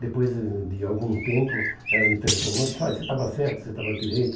Depois de algum tempo, ela me telefonou e disse, olha, você estava certo, você estava direito.